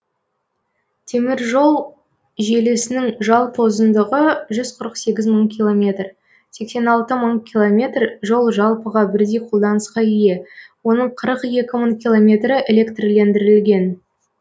теміржол желісінің жалпы ұзындығы жүз қырық сегіз мың километр сексен алты мың километр жол жалпыға бірдей қолданысқа ие оның қырық екі мың километрі электрлендірілген